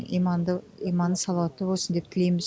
иманды иманы салауатты болсын деп тілейміз